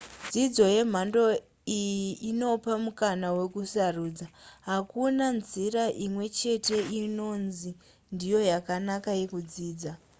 dzidzo yemhando iyi inopa mukana wekusarudza hakuna nzira imwe chete inonzi ndiyo yakanaka yekudzidza